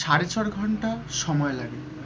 সাড়ে চার ঘন্টা সময় লাগে।